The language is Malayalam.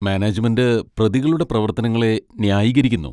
മാനേജുമെന്റ് പ്രതികളുടെ പ്രവർത്തനങ്ങളെ ന്യായീകരിക്കുന്നു.